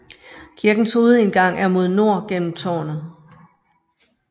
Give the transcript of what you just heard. Kirkens hovedindgang er mod nord gennem tårnet